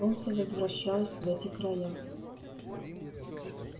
солнце возвращалось в эти края